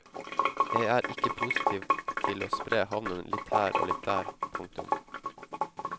Jeg er ikke positiv til å spre havnen litt her og litt der. punktum